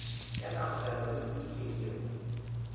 ya kamogelong le tiišetšong ya